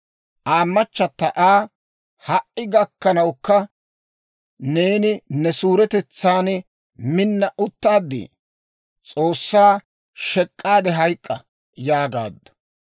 Aa machata Aa, «Ha"i gakkanawukka neeni ne suuretetsan minna uttaaddii? S'oossaa shek'k'aade hayk'k'a» yaagaaddu.